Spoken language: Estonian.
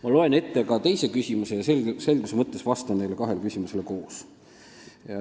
" Ma loen ette ka teise küsimuse ja selguse mõttes vastan neile kahele küsimusele koos.